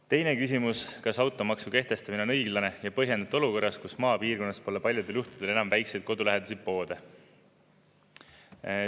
Teine küsimus: "Kas automaksu kehtestamine on õiglane ja põhjendatud olukorras, kus maapiirkonnas pole paljudel juhtudel enam väikseid kodulähedasi poode?